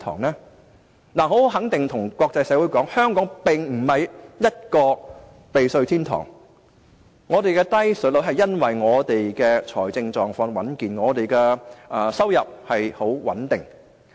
我可以很肯定地告訴國際社會，香港並非避稅天堂，我們得以維持低稅率，是因為我們的財政狀況穩健，收入十分穩定。